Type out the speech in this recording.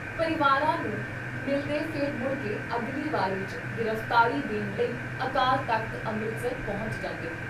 ਪਰਿਵਾਰਾਂ ਨੂੰ ਮਿਲ਼ਦੇ ਫਿਰ ਮੁੜਕੇ ਅਗਲੀ ਵਾਰੀ ਚ ਗਿਰਫ਼ਤਾਰੀ ਦੇਣ ਲਈ ਅਕਾਲ ਤਖ਼ਤ ਅੰਮ੍ਰਿਤਸਰ ਪਹੁੰਚ ਜਾਂਦੇ।